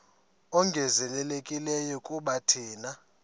ongezelelekileyo kuba thina